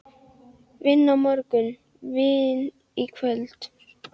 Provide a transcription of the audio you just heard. Vinna á morgun, vín í kvöld.